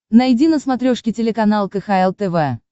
найди на смотрешке телеканал кхл тв